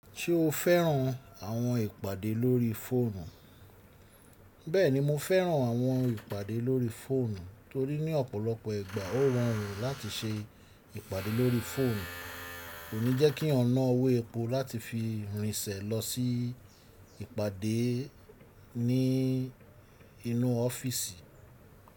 Ṣé o fẹ́ran àwọn ìpàdé lórí fóònù? Bẹ́ẹ̀ni, mo fẹ́ran àwọn ìpàdé lórí fóònù torí ní ọ̀pọ̀lọpọ̀ ìgbà ó rọrùn láti ṣe ìpàdé lórí fóònù kò ní jẹ́ kí yan nà owó epo láti fi rìn ṣẹ̀ lọ sí ìpàdé ní inú ọ́fíìsì.